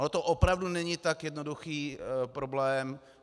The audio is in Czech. Ono to opravdu není tak jednoduchý problém.